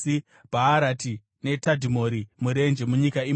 Bhaarati, neTadhimori murenje, munyika imomo,